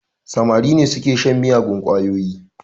Samari ne su ke shan miyagun ƙwayoyi